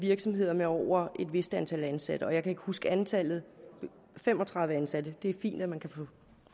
virksomheder med over et vist antal ansatte jeg kan ikke huske antallet fem og tredive ansatte det er fint at man kan få